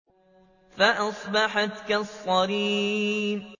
فَأَصْبَحَتْ كَالصَّرِيمِ